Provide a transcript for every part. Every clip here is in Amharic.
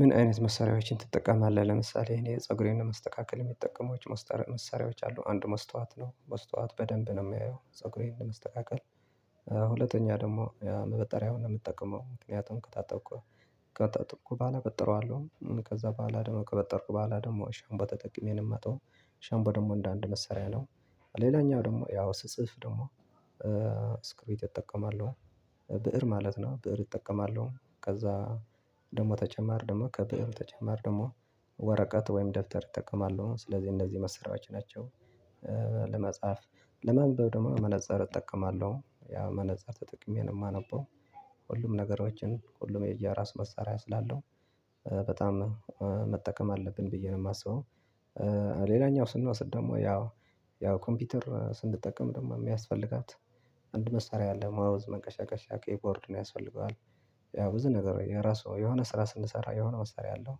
ምን አይነት መሳሪያዎችን ትጠቀማለህ? ለምሳሌ እኔ ፀጉሬን ለማስተካከል የምጠቀማቸው መሳሪያዎች አሉ። አንዱ መስታወት ነው። መስታወት በደንብ ነው የማየው ፀጉሬን ለመስተካከል ሁለተኛ ደግሞ ማበጠሪያውን ነው የምጠቀመው። ምክንያቱም ከታጠብኩ በኋላ አበጥረዋለሁ። ከዛ በኋላ ደግሞ ከበጠርኩ በኋላ ደግሞ ሸምፖ ተጠቅሜ ነው የማጥበው ሸምፖ ደግሞ እንደ አንድ መሳሪያ ነው። ሌላኛው ደግሞ ያው ስጽፍ ደግሞ እስክሪብቶ እጠቀማለሁ። ብእር ማለት ነው። ብእር እጠቀማለሁ። ከዛ ደግሞ ተጨማሪ ደግሞ ከብእሩ ተጨማሪ ደግሞ ወረቀት ወይም ደብተር እጠቀማለሁ። ስለዚህ እንደዚህ መሳሪያዎች ናቸው። መጽሐፍ ለማንበብ ደግሞ መነፅር እጠቀማለሁ። ያው መነፅር ተጠቅሜነው የማነበው። ሁሉም ነገሮችን ሁሉም የየያራሱ መሳሪያ ስላለው በጣም መጠቀም አለብን ብዬ ነው የማስበው። ሌላኛው ስንወስድ ደግሞ ያው ኮምፒውተር ስንጠቀም ደግሞ የሚያስፈልጋት አንድ መሳሪያ አለ። ማውዝ፣ መንቀሳቀሻ፣ ኪቦርድ ያስፈልገዋል። ያው ብዙ ነገር የራሱ የሆነ ስራ ስንሰራ የሆነ መሰሪያ አለው።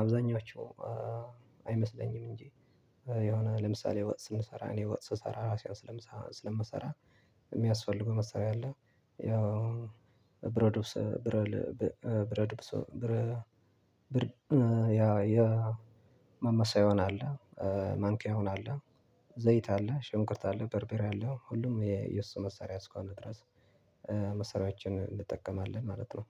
አብዛኞቹ አይመስለኝም እንጂ የሆነ ለምሳሌ ወጥ ስንሰራ እኔ ወጥ ስሰራ ራሴን ስለምሰራ የሚያስፈልገው መሰሪያ አለ። ያው ብረትድስት ማማሰያ አለ። ማንኪያውም አለ። ዘይት አለ፤ ሽንኩርት፤ አለ በርበሬ አለ ሁሉም የሱ መሳሪያ እስከሆነ ድረስ መሳሪያዎችን እንጠቀማለን ማለት ነው።